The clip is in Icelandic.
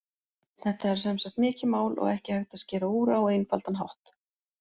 Þetta er sem sagt mikið mál og ekki hægt að skera úr á einfaldan hátt.